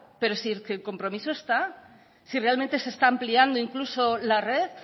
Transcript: pero si el compromiso está si realmente se está ampliando incluso la red